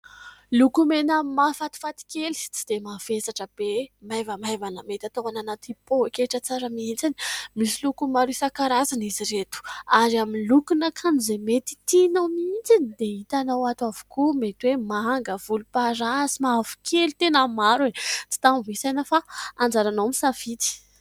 Lokomena mahafatifaty kely tsy dia mavesatra be, maivamaivana mety atao any anaty poketra tsara mihitsiny. Misy loko maro isankarazany izy ireto ary amin'ny lokon'akanjo izay mety tianao mihitsiny, dia hitanao ato avokoa mety hoe : manga, volomparasy, mavokely, tena maro e ! Tsy tambo isaina fa anjaranao no misafidy.